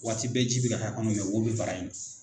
Waati bɛɛ ji bɛ ka k'a kɔnɔ nka wo bɛ bara in na.